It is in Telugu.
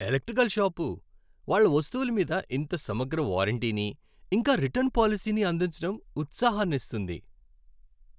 ఎలక్ట్రికల్ షాపు, వాళ్ళ వస్తువుల మీద ఇంత సమగ్ర వారంటీని, ఇంకా రిటర్న్ పాలసీని అందించడం ఉత్సాహనిస్తుంది.